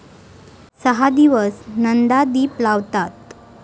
सहा दिवस नंदादीप लावतात.